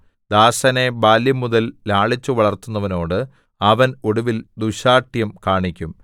ദാസനെ ബാല്യംമുതൽ ലാളിച്ചുവളർത്തുന്നവനോട് അവൻ ഒടുവിൽ ദുശ്ശാഠ്യം കാണിക്കും